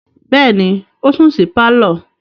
Bẹ́ẹ̀ni, ó sùn sí pálọ̀.